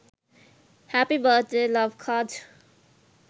happy birth day love cards